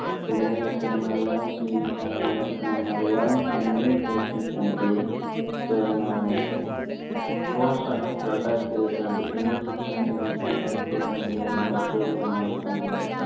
തുടങ്ങിയ ചില മലയാളം tvchannel ഉകൾ നടത്തുന്ന മലയാളം communications ഇന്റെ chairman ആണ് അദ്ദേഹം. റോഷാക്ക്, രണ്ടായിരത്തി ഇരുപത്തി രണ്ട് എന്നീ ചിത്രങ്ങൾ നിർമിച്ച മമ്മൂട്ടി company എന്ന മറ്റൊരു നിർമാണ company അദ്ദേഹം